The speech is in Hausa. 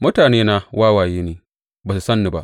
Mutanena wawaye ne; ba su san ni ba.